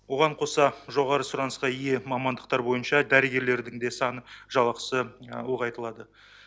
оған қоса жоғары сұранысқа ие мамандықтар бойынша дәрігерлердің де саны жалақысы ұлғайтылады